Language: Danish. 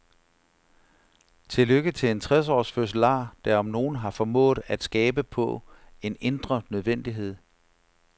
Til lykke til en tres års fødselar der om nogen har formået at skabe på en indre nødvendighed.